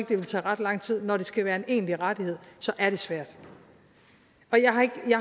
det ville tage ret lang tid men når det skal være en egentlig rettighed så er det svært og jeg